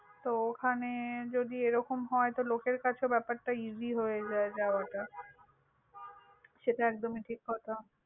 তো ওখানে যদি এরকম হয়, তো লোকের কাছে ব্যাপারটা easy হয়ে যায় যাওয়াটা। সেটা একদমই ঠিক কথা।